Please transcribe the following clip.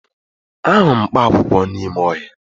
Ahụrụ m mkpaakwụkwọ n'ime ọhịa